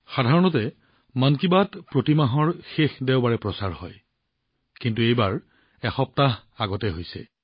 সাধাৰণতে মন কী বাত প্ৰতি মাহৰ অন্তিম দেওবাৰে প্ৰচাৰিত হয় কিন্তু এইবাৰ এসপ্তাহ পূৰ্বেই প্ৰচাৰ হৈছে